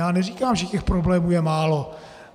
Já neříkám, že těch problémů je málo.